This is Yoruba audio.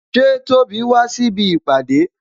Ṣé Tóbi wá síbi ìpàdé?